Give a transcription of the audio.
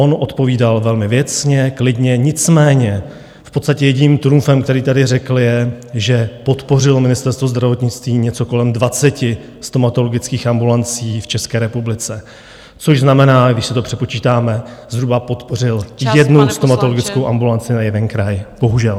On odpovídal velmi věcně, klidně, nicméně v podstatě jediným trumfem, který tady řekl, je, že podpořilo Ministerstvo zdravotnictví něco kolem 20 stomatologických ambulancí v České republice, což znamená, když si to přepočítáme , zhruba podpořil jednu stomatologickou ambulanci na jeden kraj, bohužel.